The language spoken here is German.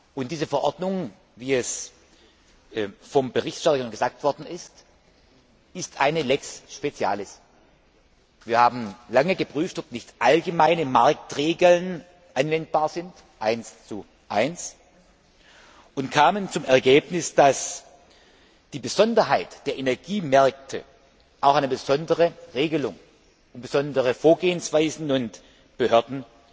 Und diese Verordnung, wie vom Berichterstatter schon gesagt worden ist, ist eine lex specialis. Wir haben lange geprüft, ob nicht allgemeine Marktregeln 11 anwendbar sind, und kamen zum Ergebnis, dass die Besonderheit der Energiemärkte auch eine besondere Regelung und besondere Vorgehensweisen sowie eigene Behörden